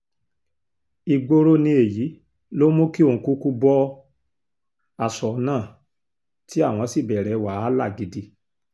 ìgboro ni èyí ló mú kí òun kúkú bọ aṣọ náà tí àwọn sì bẹ̀rẹ̀ wàhálà gidi